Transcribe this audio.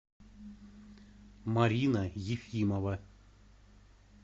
марина ефимова